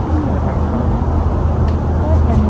ক'ত জানিবি?